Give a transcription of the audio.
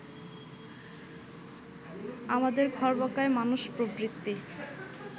আমাদের খর্বাকায় মানসপ্রবৃত্তি